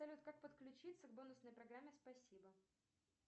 салют как подключиться к бонусной программе спасибо